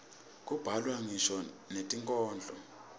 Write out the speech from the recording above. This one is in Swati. kubhalwa ngisho netinkhondlo